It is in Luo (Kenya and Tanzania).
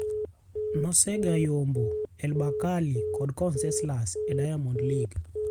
Nosega yombo El Bakkali kod Conseslus e Diamond League.